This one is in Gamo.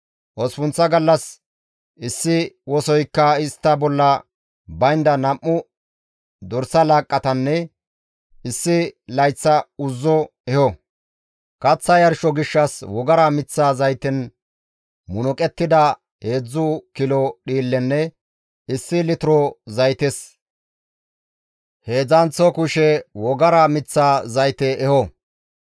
«Osppunththa gallas issi wosoykka istta bolla baynda nam7u dorsa laaqqatanne issi layththa uzzo eho; kaththa yarsho gishshas wogara miththa zayten munuqettida heedzdzu kilo dhiillenne issi litiro zaytes heedzdzanththo kushe wogara miththa zayte eho.